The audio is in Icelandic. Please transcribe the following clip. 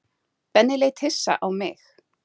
Benni leit hissa á mig.